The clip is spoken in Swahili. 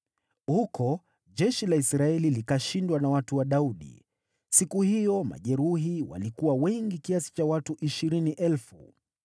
Huko jeshi la Israeli likashindwa na watu wa Daudi, siku hiyo majeruhi walikuwa wengi kiasi cha watu ishirini elfu.